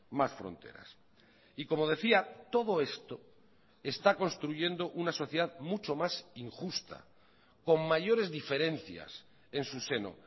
más fronteras y como decía todo esto está construyendo una sociedad mucho más injusta con mayores diferencias en su seno